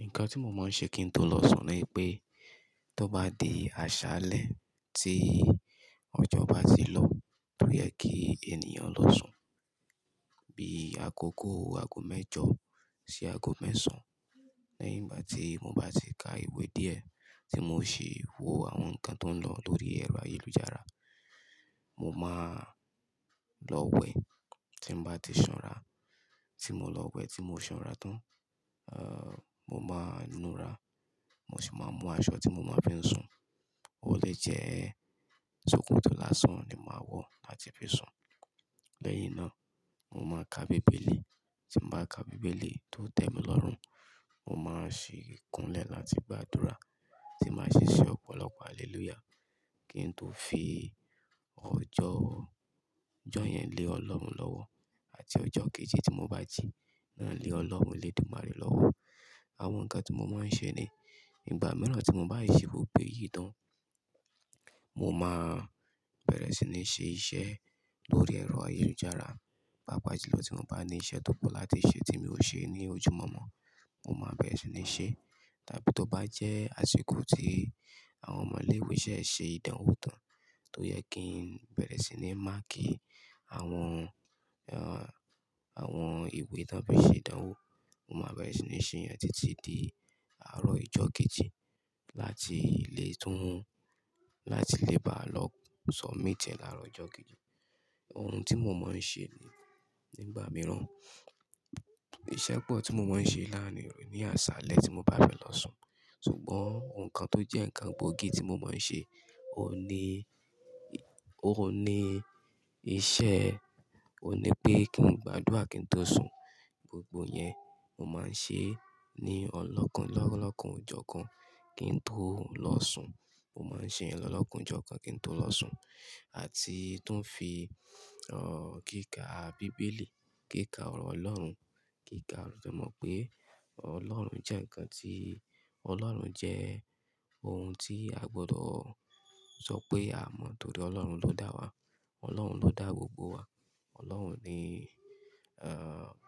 Nǹkan tí mo máa ń ṣe kí n tó lọ sùn ni pé, tó bá di aṣálẹ́ tí ọjọ́ bá ti lọ, tó yẹ kí ènìyàn lọ sùn, bí àkókò aago mẹ́jọ sí aago mẹ́sàn. Lẹ́yìn gbá tí mo bá ti ka ìwé díẹ̀, tí mo ṣi wò àwọn nǹkan tó ń lọ lórí ẹ̀rọ ayélujára, mo máa lọ wẹ̀, tí mo bá ti sanra, tí mo lọ wẹ̀ tí mo sanra tán, mo máa nùra, mo sì máa mú aṣọ tí mo máa fi sùn, ó lè jẹ́ ṣòkòtò lásán ni máa wọ̀ láti fi sùn. Lẹ́yìn náà, mo máa ka bíbélì, tí mo bá ka bíbélì tó tẹ́mi lọ́rùn, mo máa ṣi kúnlẹ̀ láti gbàdúrà, tí màá ṣe ṣẹ ọ̀pọ̀lọpọ̀ haleluya, kí n tó fi ọjọ́ yẹn lé Ọlọ́run lọ́wọ́, àti ọjọ́ kejì tí mo bá ji náà lé Ọlọ́run elédùmarè lọ́wọ́. Àwọn nǹkan tí mo máa ń ṣe ni, ìgbà mìíràn tí mo bá ṣe gbogbo ẹyì tán, mo máa bẹ̀rẹ̀ sí ní ṣe iṣẹ́ lórí ẹ̀rọ ayélujára, pàápàá jùlọ tí mo bá ní iṣẹ́ tó pọ̀ láti ṣe, tí mi ò ṣe ní ojú mọ́mọ́, mo máa bẹ̀rẹ̀ sí ní ṣe. Tàbí tó bá jẹ́ àsìkò tí àwọn ọmọ ilé ìwé ṣẹ̀ ṣe ìdánwò tán, tó yẹ kí n bẹ̀rẹ̀ sí ní máàkí Awọn ìwé ti won fí ṣe ìdánwò, mo máa bẹ̀rẹ̀ sí ní ṣe èyán títí di àárọ̀ ọjọ́ kejì láti lè bá lọ sọ̀mítie lárọ̀ ọjọ́ kejì. Ohun tí mo máa ń ṣe ní ìgbà mìíràn, iṣẹ́ pọ̀ tí mo máa ń ṣe láàárín òru ní aṣálẹ́ tí mo bá fẹ́ lọ sùn. Sugbọn nǹkan tó jẹ́ kan gbóògì tí mo máa ń ṣe, òní pé kí n gbàdúrà kí n tó sùn. Gbogbo yẹn, mo máa ń ṣe ní olokanojokan kí n tó lọ sùn. Mo máa ń ṣe yẹn lọ́lọ́kanọjọ́kan kí n tó lọ sùn. Àti tún fi, kíkà bíbélì, kíkà ọ̀rọ̀ Ọlọ́run, semọ̀ pé Ọlọ́run jẹ́ nǹkan tí, Ọlọ́run jẹ́ ohun tí a gbọdọ̀ sọ pé a mọ̀, nítorí Ọlọ́run ló dá wa, Ọlọ́run ló dá gbogbo wa. Ọlọ́run ni,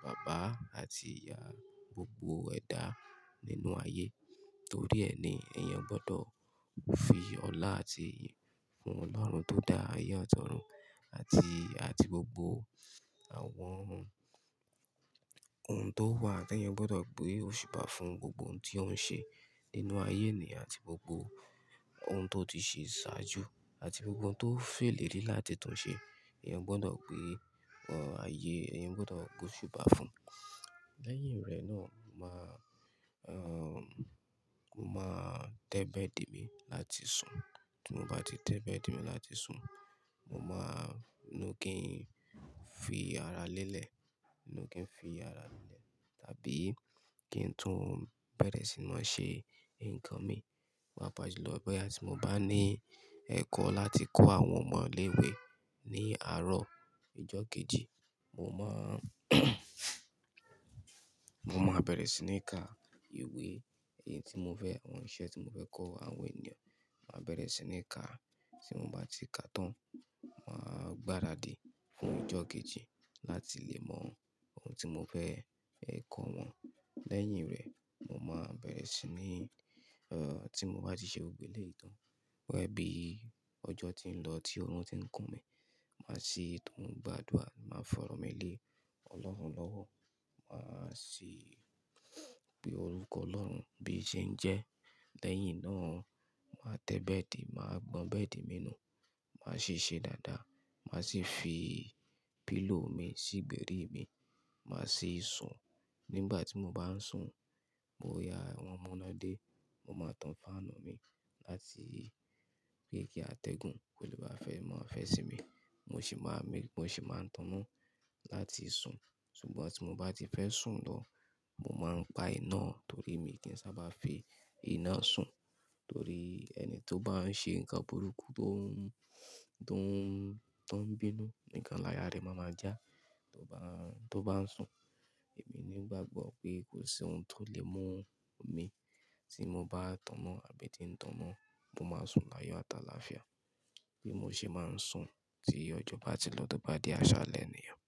bàbá àti ìyá gbogbo ẹ̀dá nínú ayé. Nítorí ẹ́ ni, èèyàn gbọdọ̀ fi ọlá àti ìyìn fún Ọlọ́run tó dá ayé ati ọ̀run àti gbogbo ohun tó wà. Ti èèyàn gbọdọ̀ gbé òṣùbá fún, gbogbo ohun tí ó ń ṣe nínú ayé eniyan àti gbogbo ohun tó ti ṣe ṣáájú àti gbogbo ohun tó filérí láti tun ṣe. Ẹ̀yàn gbọdọ̀ gbé, ayé, èèyàn gbọdọ̀ gbé òṣùbá fún. Lẹ́yìn rẹ náà, mo máa tẹ́ bẹ́ẹ̀dì mi láti sùn. Tí mo bá ti tẹ́ bẹ́ẹ̀dì mi láti sùn, mo máa nu kín fi ara lélẹ̀ tàbí kí n tún bẹ̀rẹ̀ sí máa ṣe ǹkan mi. Pàápàá jùlọ boya ti mo bá ní ẹ̀kọ́ láti kọ́ àwọn ọmọ ilé ìwé, ní àárọ̀ ọjọ́ kejì. Mo máa bẹ̀rẹ̀ sí ní ka ìwé èyí tí mo fẹ́, àwọn iṣẹ́ tí mo fẹ́ kọ́ àwọn ènìyàn, màá bẹ̀rẹ̀ sí ní ka. Tí mo bá ti ka tán, màá gbáradì fún ọjọ́ kejì láti lè mọ ohun tí mo fẹ́ ẹ kọ wọn. Lẹ́yìn rẹ, mo máa bẹ̀rẹ̀ sí ní, tí mo bá ti ṣe gbogbo ìlẹ̀yì tán, boya bí ọjọ́ ti ń lọ, tí ọ̀run ti ń kùn mí, màá sì tún gbàdúrà, màá fọ̀rọ̀ mí lé Ọlọ́run lọ́wọ́, màá sì pe orúkọ Ọlọ́run bí i ṣe ń jẹ́. Lẹ́yìn náà, màá tẹ́ bẹ́ẹ̀dì, màá gbọn bẹ́ẹ̀dì mi nù, màá sì ṣe dáadáa, màá sì fi pílò mi sígbẹ̀rí mi, màá sì sùn. Nígbà tí mo bá ń sùn, boya wọn munedé, mo máa tan fáànù mi láti rí pé kí atẹ́gùn kó lè bá mọ́ fẹ́ sí mi. Mo sì máa ń tọ̀nọ́ láti sùn. Sugbọn tí mo bá ti fẹ́ sùn lọ, mo máa pa iná torí mi kì í sábà fi iná sùn. Torí ẹni tó bá ń ṣe ǹkan burúkú, tó ń bínú nǹkan láyà re n máa já tó bá, tó bá ń sùn. Èmi ní bá gbọ́ pé kò sí ohun tó lè mú mi, tí mo bá tọ̀nọ́ àbí tí ń tọ̀nọ́, mo máa sùn láyọ̀ àtàlàáfíà. Bí mo ṣe máa ń sùn tí ọjọ́ bá ti lọ tó bá di aṣálẹ́ ènìyàn.